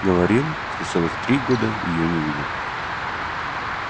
говорил что целых три года её не видел